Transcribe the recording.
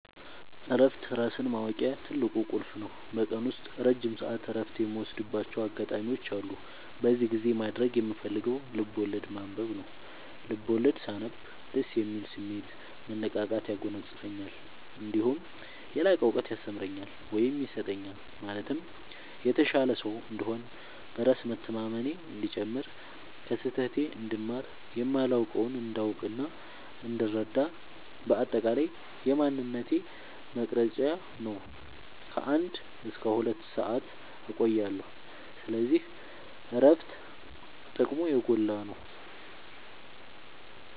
እረፍት ራስን ማወቂያ ትልቁ ቁልፍ ነው። በቀን ውስጥ ረጅም ሰዓት እረፍት የምወስድባቸው አጋጣዎች አሉ። በዚህ ጊዜ ማድረግ የምፈልገው ልብዐወለድ ማንበብ ነው፤ ልቦለድ ሳነብ ደስ የሚል ስሜት፣ መነቃቃት ያጎናፅፈኛል። እነዲሁም የላቀ እውቀት ያስተምረኛል ወይም ይሰጠኛል ማለትም የተሻለ ሰው እንድሆን፣ በራስ መተማመኔ እንዲጨምር፣ ከስህተቴ እንድማር፣ የማላውቀውን እንዳውቅናእንድረዳ በአጠቃላይ የማንነቴ መቅረጽያ ነው። ከ አንድ እስከ ሁለት ሰአት እቆያለሁ። ስለዚህ እረፍት ጥቅሙ የጎላ ነው።